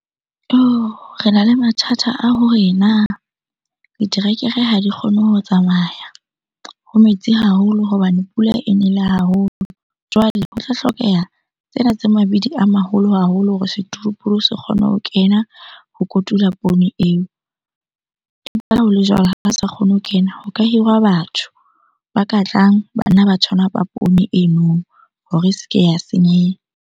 Rena le mathata a hore na diterekere ha di kgone ho tsamaya. Ho metsi haholo hobane pula e nele haholo. Jwale ho tla hlokeha tsena tsa mabidi a maholo haholo hore setoroporo se kgone ho kena ho kotula poone eo. Ebile ha o le jwalo, ha ba sa kgone ho kena. Ho ka hirwa batho ba ka tlang ba nna ba poone eno hore e se ke ya senyeha.